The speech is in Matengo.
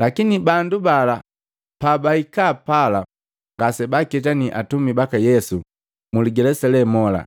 Lakini bandu bala pabaikaa pala ngasebaaketani atumi baka Yesu mu ligelesa lee mola.